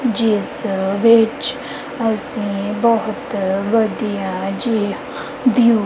ਜਿਸ ਵਿੱਚ ਅਸੀਂ ਬਹੁਤ ਵਧੀਆ ਜਿਹਾ ਵਿਊ --